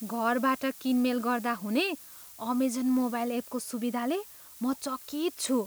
घरबाट किनमेल गर्दा हुने अमेजन मोबाइल एपको सुविधाले म चकित छु।